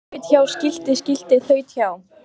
Þaut hjá skilti skilti þaut hjá